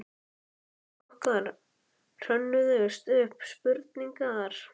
Í lífi okkar hrönnuðust upp spurningar.